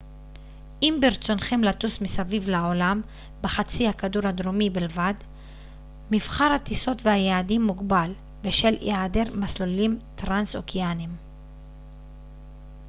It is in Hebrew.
אם ברצונכם לטוס מסביב לעולם בחצי הכדור הדרומי בלבד מבחר הטיסות והיעדים מוגבל בשל היעדר מסלולים טרנס-אוקייניים